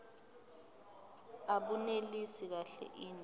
abunelisi kahle inde